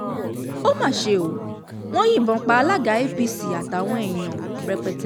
ó mà ṣe ó wọn yìnbọn pa alága apc àtàwọn èèyàn rẹpẹtẹ